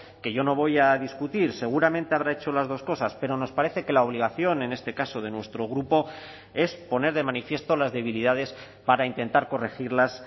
que yo no voy a discutir seguramente habrá hecho las dos cosas pero nos parece que la obligación en este caso de nuestro grupo es poner de manifiesto las debilidades para intentar corregirlas